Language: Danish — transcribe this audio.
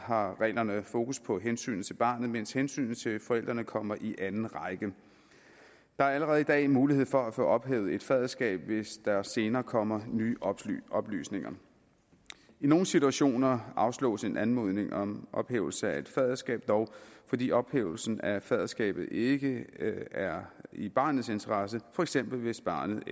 har reglerne fokus på hensynet til barnet mens hensynet til forældrene kommer i anden række der er allerede i dag en mulighed for at få ophævet et faderskab hvis der senere kommer nye oplysninger i nogle situationer afslås en anmodning om ophævelse af et faderskab dog fordi ophævelsen af faderskabet ikke er i barnets interesse for eksempel hvis barnet